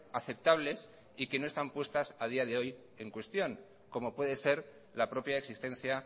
aceptables y que no están puestas a día de hoy en cuestión como puede ser la propia existencia